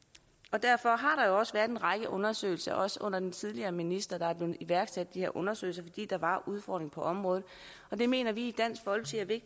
derfor har også været en række undersøgelser også under den tidligere minister der har iværksat de her undersøgelser fordi der var udfordringer på området og det mener vi